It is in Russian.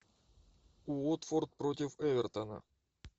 уотфорд против эвертона